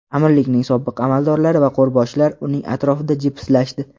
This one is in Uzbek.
Amirlikning sobiq amaldorlari va qo‘rboshilar uning atrofida jipslashdi.